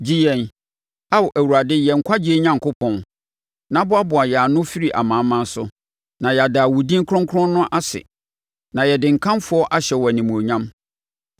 Gye yɛn, Ao Awurade yɛn nkwagyeɛ Onyankopɔn, na boaboa yɛn ano firi amanaman so, na yɛada wo din kronkron no ase, na yɛde nkamfo ahyɛ wo animuonyam.